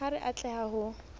ha re a tleha ho